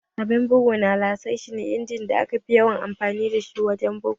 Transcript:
Abun bugu na laser shi ne injimin da aka fi yawan amfani dashi wurin bugu